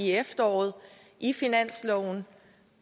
efteråret i finansloven